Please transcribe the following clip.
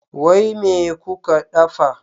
Wai me kuka ɗafa?